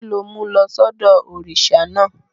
Kí ló mú lọ sọ́dọ̀ òrìṣà náà?